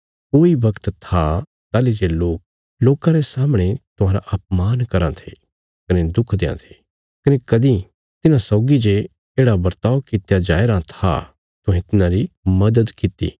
कोई वगत था ताहली जे लोक लोकां रे सामणे तुहांरा अपमान कराँ थे कने दुख देआं थे कने कदीं तिन्हां सौगी जे येढ़ा बर्ताव कित्या जाया राँ था तुहें तिन्हांरी मदद कित्ती